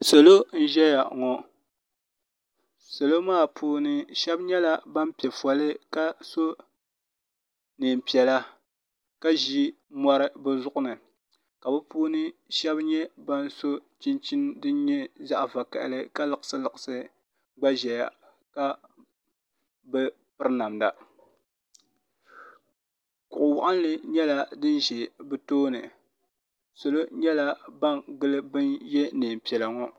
salo n-zaya ŋɔ salo maa puuni shɛba nyɛla ban pe foli ka so neen piɛla ka ʒi mɔri bɛ zuɣi ni ka bɛ puuni shɛba nyɛ ban so chinchini din nyɛ zaɣ' vakahili ka liɣisiliɣisi gba zaya ka bi piri namda kuɣ' waɣinli nyɛla din za bɛ tooni salo nyɛla ban gili ban ye neen piɛla ŋɔ